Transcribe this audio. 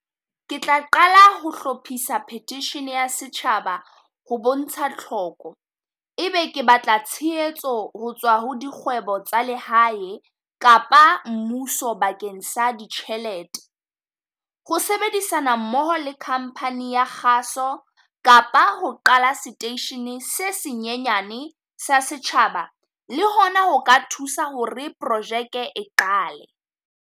Ke tla qala ho hlophisa petition ya setjhaba ho bontsha tlhoko, ebe ke batla tshehetso ho tswa ho dikgwebo tsa lehae, kapa mmuso bakeng sa ditjhelete. Ho sebedisana mmoho le company ya kgaso, kapa ho qala seteisheneng se senyenyane sa setjhaba le ho na ho ka thusa hore projeke e qale.